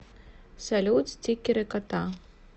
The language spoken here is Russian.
салют стикеры кота